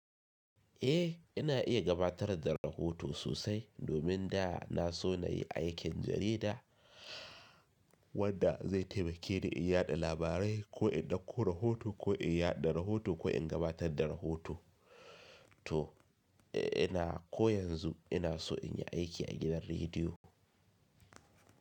Eh ina iya gabatar da rahoto sosai domin da na so na yi aikin jarida wanda zai taimake ni in yaɗa labarai ko in ɗauko rahoto ko in yaɗa rahoto ko in gabatar da rahoto. To ina ko yanzu ina so in yi aiki a gidan rediyo.